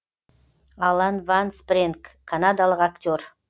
алан ван спрэнг канадалық актер